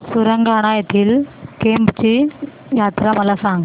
सुरगाणा येथील केम्ब ची यात्रा मला सांग